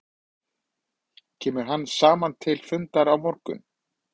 Kemur hann saman til fundar á morgun?